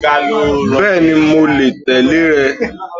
Bẹ́ẹ̀ni, mo lè tẹ̀lé rẹ